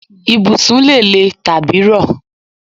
Ibùsùn lè lè tàbí rọ